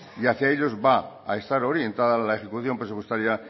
y hacia ellos va a estar orientada la ejecución presupuestaria